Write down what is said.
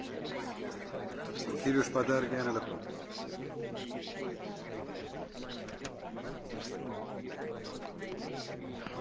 Oma tähtsuselt on proua Ţicău raport üks tähtsamaid energia ja kliimapoliitilisi instrumente, mis on viimastel aastatel meie poolt vastu võetud.